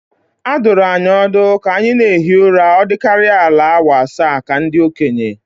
A dụrụ anyị ọdụ ka anyị na-ehi ụra ọ dịkarịa ala awa asaa ka ndị okenye